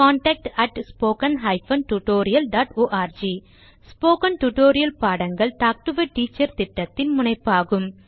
contact spoken hyphen tutorial dot org spoken tutorial பாடங்கள் talk to a teacher திட்டத்தின் முனைப்பாகும்